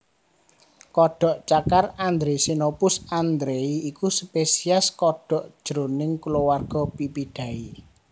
Kodhok cakar Andre Xenopus andrei iku spesies kodhok jroning kulawargaPipidae